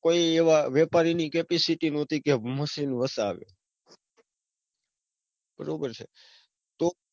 કોઈ એવા વેપારીની capacity નહોતી, કે machine વસાવે. બરાબર છે.